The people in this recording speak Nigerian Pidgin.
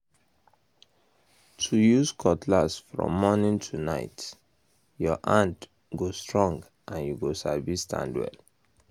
to use um cutlass from morning to night your hand um go um strong and you go sabi stand well